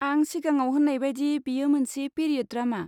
आं सिगाङाव होन्नाय बायदि, बेयो मोनसे पिरियड ड्रामा।